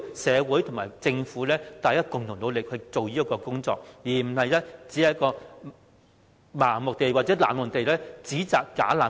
社會和政府要共同努力解決這個問題，不應盲目或冷漠地稱聲請者為"假難民"。